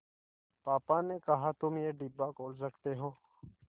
पापा ने कहा तुम ये डिब्बा खोल सकते हो